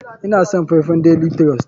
Ina son faifan daily trust.